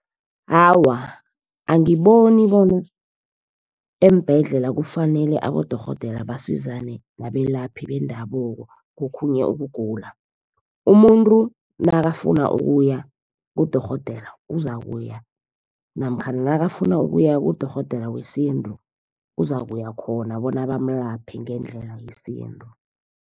Awa, angiboni bona eembhedlela kufanele abodorhodera basizane nabelaphi bendabuko, kokhunye ukugula. Umuntu nakafuna ukuya kudorhodera uzakuya, namkhana nakafuna ukuya kudorhodera wesintu uzakuya khona bona bamlaphe ngendlela yesintu.